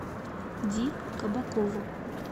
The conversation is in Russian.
ди кабакову